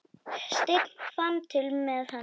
Sveinn fann til með henni.